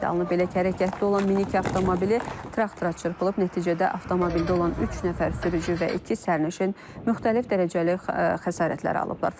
Belə ki, hərəkətdə olan minik avtomobili traktora çırpılıb, nəticədə avtomobildə olan üç nəfər sürücü və iki sərnişin müxtəlif dərəcəli xəsarətlər alıblar.